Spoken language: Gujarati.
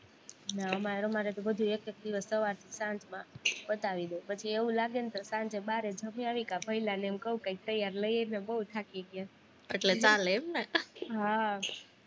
ના અમારે તો બધે એક જ દિવસ સવારથી સાંજ માં પતાવી દે, પછી એવું લાગે ને તો સાંજે બારે જમયાવી, કા ભઈલાને એમ ક્વ કંઈક તૈયાર લઇ આવ ને બોવ થાકી ગયા, હા